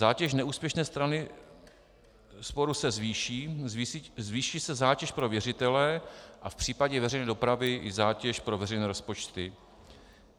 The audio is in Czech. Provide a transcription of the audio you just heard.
Zátěž neúspěšné strany sporu se zvýší, zvýší se zátěž pro věřitele a v případě veřejné dopravy i zátěž pro veřejné rozpočty.